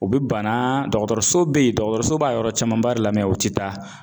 U bi banna dɔgɔtɔrɔso be yen, dɔgɔtɔrɔso b'a yɔrɔ caman ba de la o ti taa.